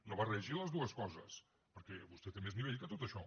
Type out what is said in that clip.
no barregi les dues coses perquè vostè té més nivell que tot això